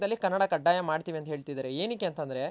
ಕರ್ನಾಟಕದಲ್ ಕನ್ನಡ ಕಡ್ಡಾಯ ಮಾಡ್ತಿವಿ ಅಂತ ಹೇಳ್ತಿದಾರೆ ಎನ್ಕೆ ಅಂತ ಅಂದ್ರೆ?